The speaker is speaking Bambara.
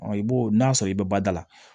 i b'o n'a sɔrɔ i bɛ bada la